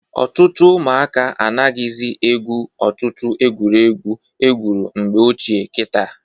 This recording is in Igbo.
Ọtụtụ ụmụaka anaghịzị egwu ọtụtụ egwuregwu egwuru mgbe ochie kịta.